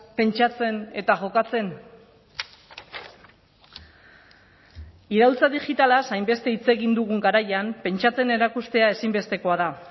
pentsatzen eta jokatzen iraultza digitalaz hainbeste hitz egin dugun garaian pentsatzen erakustea ezinbestekoa da